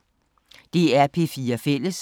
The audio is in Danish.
DR P4 Fælles